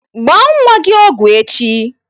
Gbaa nwa gị ọgwụ echi!